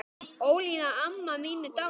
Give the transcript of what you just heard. Ólína amma mín er dáin.